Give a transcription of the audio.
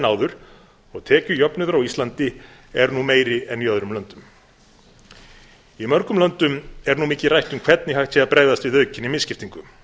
áður og tekjujöfnuður á íslandi er nú meiri en í öðrum löndum í mörgum löndum er nú mikið rætt um hvernig hægt sé að bregðast við aukinni misskiptingu